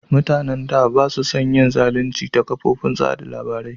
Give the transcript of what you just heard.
Mutanen da ba su San da yin zalunci ta kofofin watsa labari ba